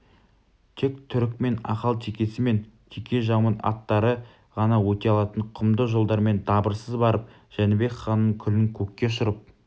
тек түрікмен ақалтекесі мен текежаумыт аттары ғана өте алатын құмды жолдармен дабырсыз барып жәнібек ханның күлін көкке ұшырып